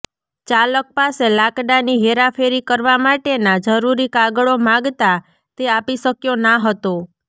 ચાલક પાસે લાકડાની હેરાફેરી કરવા માટેના જરૃરી કાગળો માગતા તે આપી શક્યો ના હતો